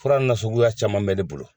Fura na suguya caman bɛ ne bolo.